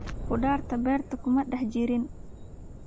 Khudaarta beerta kuma dhex jirin